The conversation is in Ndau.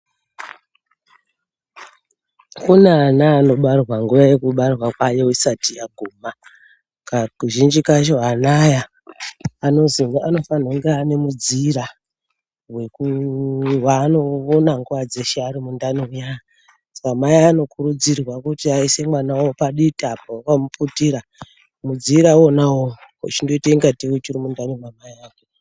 Kune ana anobarwara nguwa yekubarwa kwayo isati yaguma kazhinji kacho ana aya anozi anofanira kunge ane mudziira weku vaanoona nguwa dzeshe vari ari mundani muya, Saka mai anokurudzirwa kuti aise mwana wawo paditi apo vakamuputira mudzira iwona iwoyo wochinoite ngatei uri mundani mamai ake.